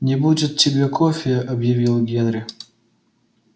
не будет тебе кофе объявил генри